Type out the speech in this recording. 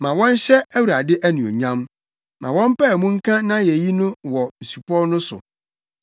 Ma wɔnhyɛ Awurade anuonyam; na wɔmpae mu nka nʼayeyi no wɔ asupɔw no so.